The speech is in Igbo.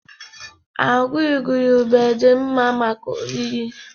Agwa igurube dị mma maka oriri